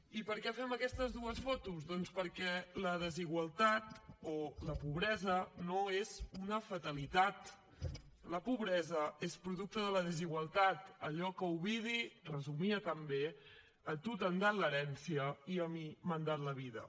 i per què fem aquestes dues fotos doncs perquè la desigualtat o la pobresa no és una fatalitat la pobresa és producte de la desigualtat allò que ovidi resumia tan bé a tu t’han dat l’herència i a mi m’han dat la vida